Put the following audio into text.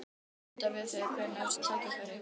Ég fór til fundar við þau hvenær sem tækifæri gafst.